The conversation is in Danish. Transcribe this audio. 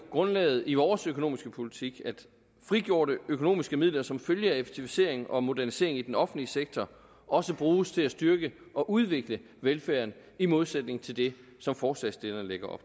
grundlaget i vores økonomiske politik jo at frigjorte økonomiske midler som følge af effektivisering og modernisering i den offentlige sektor også bruges til at styrke og udvikle velfærden i modsætning til det som forslagsstillerne lægger